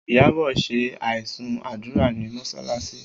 Iyabọ̀ ṣe aisun àdúrà ní mọsalasi